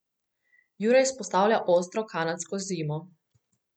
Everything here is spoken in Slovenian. Jure izpostavlja ostro kanadsko zimo.